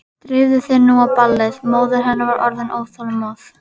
Drífðu þig nú á ballið, móðir hennar var orðin óþolinmóð.